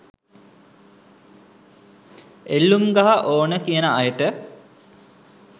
එල්ලුම් ගහ ඕන කියන අයට